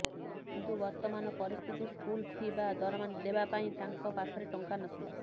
କିନ୍ତୁ ବର୍ତ୍ତମାନ ପରିସ୍ଥିତି ସ୍କୁଲ ଫି ବା ଦରମା ଦେବା ପାଇଁ ତାଙ୍କ ପାଖରେ ଟଙ୍କା ନଥିଲା